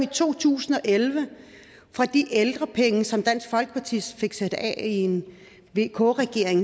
to tusind og elleve for de ældrepenge som dansk folkeparti fik sat af i en vk regering